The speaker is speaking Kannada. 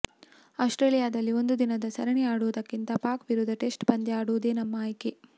ಆಸ್ಟ್ರೇಲಿಯಾದಲ್ಲಿ ಒಂದು ದಿನದ ಸರಣಿ ಆಡುವುದಕ್ಕಿಂತ ಪಾಕ್ ವಿರುದ್ಧ ಟೆಸ್ಟ್ ಪಂದ್ಯ ಆಡುವುದೇ ನಮ್ಮ ಆಯ್ಕೆ